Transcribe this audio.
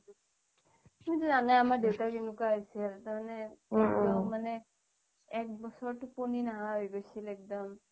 তুমিটো জানাই আমাৰ দেউতা কেনেকুৱা আছিল মানে এক বছৰ টোপনি নহা হৈ গৈছিল একদম